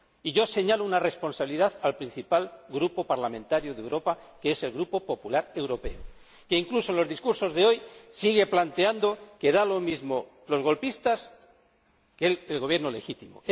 Yo señalo la responsabilidad del principal grupo parlamentario de Europa, que es el Grupo del Partido Popular Europeo, que, incluso en los discursos de hoy, sigue planteando que dan lo mismo los golpistas que el Gobierno legítimo.